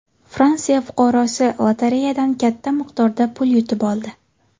Fransiya fuqarosi lotereyadan katta miqdorda pul yutib oldi.